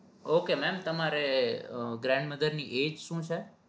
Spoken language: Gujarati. ok mem તમારે grandmother ની age શું છે?